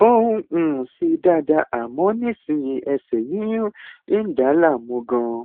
ó ń um ṣe dáadáa àmọ nísinsìnyí ẹsẹ yíyún ń dà á láàmú ganan